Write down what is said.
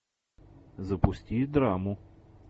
запусти драму